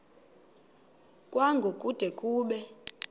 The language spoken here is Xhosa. kwango kude kube